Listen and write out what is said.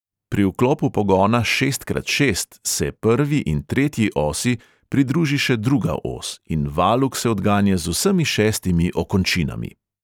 Pri vklopu pogona šest krat šest se prvi in tretji osi pridruži še druga os in valuk se odganja z vsemi šestimi "okončinami".